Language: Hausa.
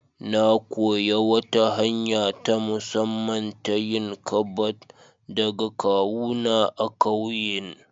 Na koyi wata hanya ta musamman ta yin ƙabad daga kawuna a ƙauyen.